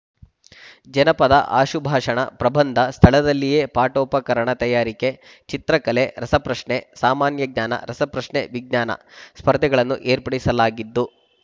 ಜನಪದ ಆಶುಭಾಷಣ ಪ್ರಬಂಧ ಸ್ಥಳದಲ್ಲಿಯೇ ಪಾಠೋಪಕರಣ ತಯಾರಿಕೆ ಚಿತ್ರಕಲೆ ರಸ ಪ್ರಶ್ನೆಸಾಮಾನ್ಯ ಜ್ಞಾನ ರಸಪ್ರಶ್ನೆವಿಜ್ಞಾನ ಸ್ಪರ್ಧೆಗಳನ್ನು ಏರ್ಪಡಿಸಲಾಗಿದ್ದು